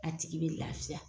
A tigi be lafiya